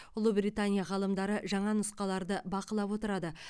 ұлыбритания ғалымдары жаңа нұсқаларды бақылап отырады